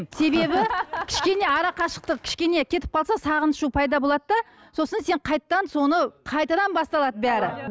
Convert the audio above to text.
себебі кішкене арақашықтық кішкене кетіп қалса сағыныш пайда болады да сосын сен қайтадан соны қайтадан басталады бәрі